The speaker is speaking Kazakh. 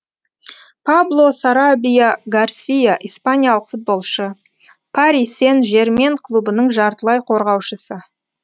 пабло сарабия гарсия испаниялық футболшы пари сен жермен клубының жартылай қорғаушысы